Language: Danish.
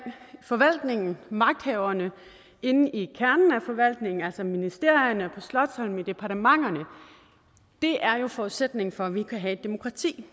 forvaltningen magthaverne inde i kernen af forvaltningen altså ministerierne på slotsholmen i departementerne er jo forudsætningen for at vi kan have et demokrati